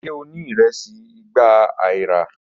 Ṣe o ni iresi igba aira?